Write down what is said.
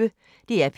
DR P1